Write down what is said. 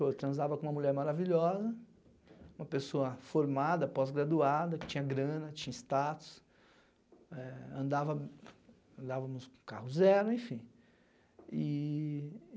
Eu transava com uma mulher maravilhosa, uma pessoa formada, pós-graduada, que tinha grana, tinha status, eh andava andavamos em um carro zero, enfim. E